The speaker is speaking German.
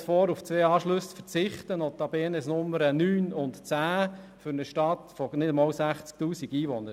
Es schlägt vor, auf zwei Anschlüsse zu verzichten, notabene Nummer 9 und 10, für eine Stadt von nicht einmal 60 000 Einwohnern.